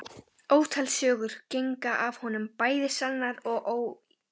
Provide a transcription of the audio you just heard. Ótal sögur gengu af honum, bæði sannar og ýktar.